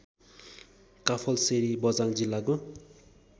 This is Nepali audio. काफलसेरी बझाङ जिल्लाको